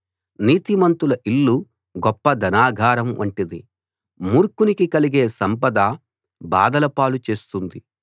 నీతిమంతుల ఇల్లు గొప్ప ధనాగారం వంటిది మూర్ఖునికి కలిగే సంపద బాధలపాలు చేస్తుంది